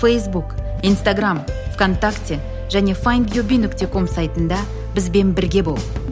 фейсбук инстаграмм в контакте және файндюби нүкте ком сайтында бізбен бірге бол